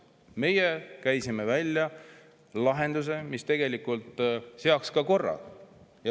Meie käisime välja lahenduse, mis tegelikult ka korra.